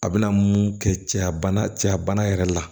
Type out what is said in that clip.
A bɛna mun kɛ cɛya bana cɛya bana yɛrɛ la